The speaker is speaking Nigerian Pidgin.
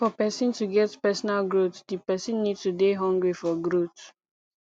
for person to get personal growth di person need to dey hungry for growth